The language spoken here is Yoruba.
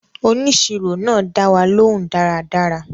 Òníṣírò náa dáwà lòún dáradára